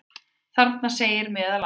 Þarna segir meðal annars: